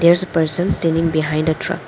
there is a person standing behind a truck.